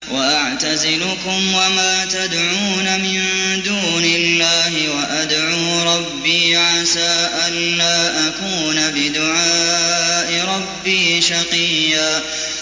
وَأَعْتَزِلُكُمْ وَمَا تَدْعُونَ مِن دُونِ اللَّهِ وَأَدْعُو رَبِّي عَسَىٰ أَلَّا أَكُونَ بِدُعَاءِ رَبِّي شَقِيًّا